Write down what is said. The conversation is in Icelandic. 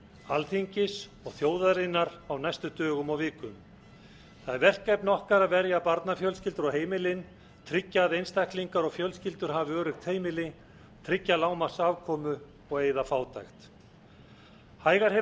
alþingis og þjóðarinnar á næstu dögum og vikum það er verkefni okkar að verja barnafjölskyldur og heimilin tryggja einstaklingar og fjölskyldur hafi öruggt heimili tryggja lágmarks afkomu og eyða fátækt hægar